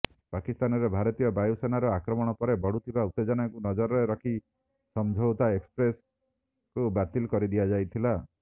ପାକିସ୍ତାନରେ ଭାରତୀୟ ବାୟୁସେନାର ଆକ୍ରମଣ ପରେ ବଢୁଥିବା ଉତେଜନାକୁ ନଜରରେ ରଖି ସମଝୌତା ଏକ୍ସପ୍ରେସକୁ ବାତିଲ କରିଦିଆଯାଇଥିଲା